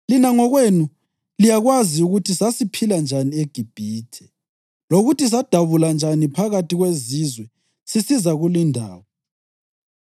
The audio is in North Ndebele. Lina ngokwenu liyakwazi ukuthi sasiphila njani eGibhithe lokuthi sadabula njani phakathi kwezizwe sisiza kulindawo.